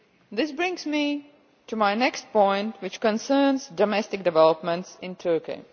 This brings me to my next point, which concerns domestic developments in Turkey.